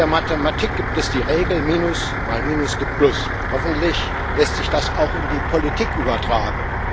In der Mathematik gibt es die Regel Minus mal Minus gibt Plus. Hoffentlich lässt sich das auch in die Politik übertragen.